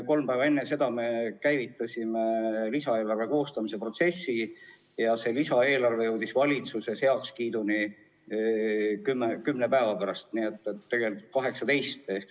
Kolm päeva enne seda me käivitasime lisaeelarve koostamise ja lisaeelarve jõudis valitsuse heakskiiduni umbes kümne päeva pärast, 18. märtsil.